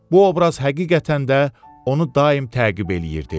Bu obraz həqiqətən də onu daim təqib eləyirdi.